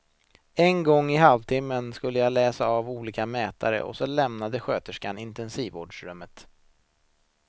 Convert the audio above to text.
En gång i halvtimmen skulle jag läsa av olika mätare och så lämnade sköterskan intensivvårdsrummet.